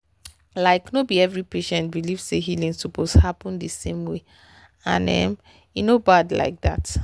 like no be every patient believe say healing suppose happen the same way and um e no bad like that.